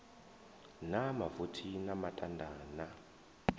na mavothi na matanda na